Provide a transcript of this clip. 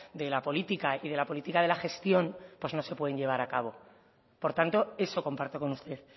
de la política y de la política de la gestión pues no se pueden llevar a cabo por tanto eso comparto con usted